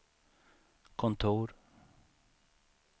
kontor